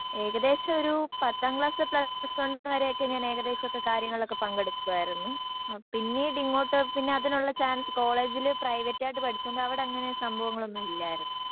ഏകദേശം ഒരു പത്താം ക്ലാസ് പ്ലസ് വൺ വരെ ഒക്കെ ഞാൻ ഏകദേശം ഒക്കെ കാര്യങ്ങളൊക്ക പങ്കെടുക്കുവായിരുന്നു പിന്നീടിങ്ങോട്ട് പിന്നെ അതിനുള്ള ചാൻസ് കോളേജില് പ്രൈവറ്റായിട്ട് പഠിച്ചോണ്ട് അവിടെ അങ്ങിനെ സംഭവങ്ങൾ ഒന്നും ഇല്ലായിരുന്നു